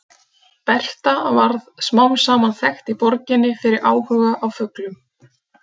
Berta varð smám saman þekkt í borginni fyrir áhuga á fuglum.